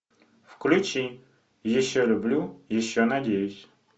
включи еще люблю еще надеюсь